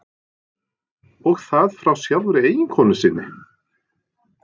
Og það frá sjálfri eiginkonu sinni.